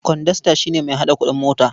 Kwandasta shi ne mai haɗa kuɗin mota.